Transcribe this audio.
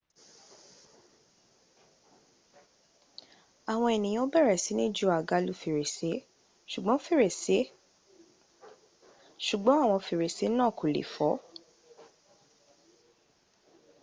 àwọn ènìyàn bẹ̀rẹ̀ sí ni ju àga lu fèrèsé ṣùgbọ́n àwọn fèrèsé náà kò lè fọ